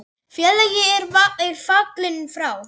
Félagi er fallinn frá.